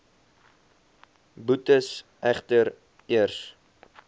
boetes egter eers